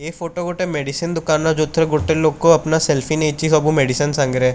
ଏ photo ଗୋଟେ medicine ଦୋକାନର ଯେଉଁଥିରେ ଗୋଟେ ଲୋକ ଅପନା ସେଲ୍ଫି ନେଇଛି ସବୁ ମେଡିସିନ୍ ସାଙ୍ଗରେ।